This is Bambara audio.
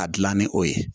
A dilan ni o ye